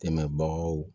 Tɛmɛbagaw